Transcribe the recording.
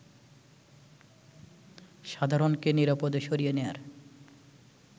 সাধারণকে নিরাপদে সরিয়ে নেয়ার